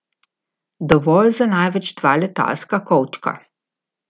Dovolj za največ dva letalska kovčka.